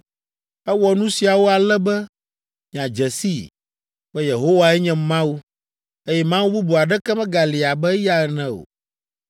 Ewɔ nu siawo ale be miadze sii, be Yehowae nye Mawu, eye mawu bubu aɖeke megali abe eya ene o.